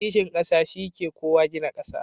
Kishin ƙasa shi ke kowa gina ƙasa.